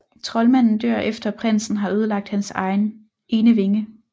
Troldmanden dør efter at prinsen har ødelagt hans ene vinge